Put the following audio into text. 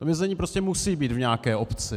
To vězení prostě musí být v nějaké obci.